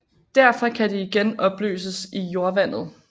Derfra kan de igen opløses i jordvandet